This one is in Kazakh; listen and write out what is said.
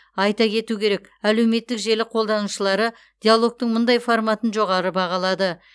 айта кету керек әлеуметтік желі қолданушылары диалогтың мұндай форматын жоғары бағалады